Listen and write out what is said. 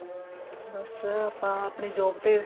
ਬੱਸ ਆਪਾਂ ਆਪਣੀ job ਤੇ